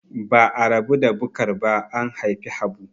Ba'a rabu da Bukar ba an haifi Habu.